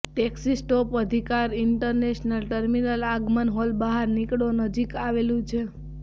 taxi stop અધિકાર international terminal આગમન hall બહાર નીકળો નજીક આવેલું છે